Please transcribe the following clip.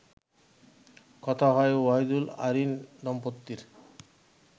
কথা হয় অহিদুল-আইরিন দম্পতির